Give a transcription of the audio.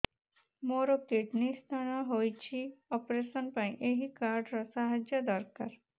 ମୋର kidney stone ହଇଛି operation ପାଇଁ ଏହି କାର୍ଡ ର ସାହାଯ୍ୟ ଦରକାର